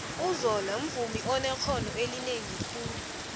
uzola mvumi enexhono elinenqi khulu